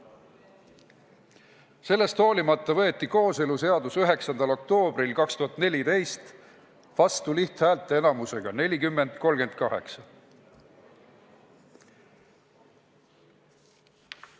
Sellest hoolimata võeti kooseluseadus 9. oktoobril 2014 vastu lihthäälteenamusega 40 : 38.